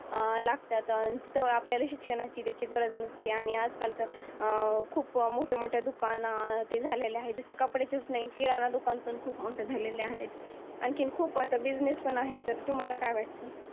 अं लागतातन. तिथं आपल्याला शिक्षणाची गरज नसत्या आणि आजकाल तर अं खूप मोठे मोठ्या दुकानात ते झालेलं आहे जसं कपड्याच्याच नाही, किराणा दुकान पण खूप मोठं झालेले आहेत. आणखीन खूप आता business पण आहेत तर तुम्हाला काय वाटतं?